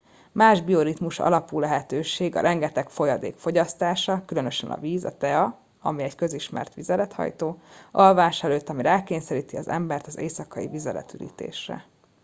más bioritmus alapú lehetőség a rengeteg folyadék fogyasztása különösen a víz a tea ami egy közismert vizelethajtó alvás előtt ami rákényszeríti az embert az éjszakai vizeletürítésre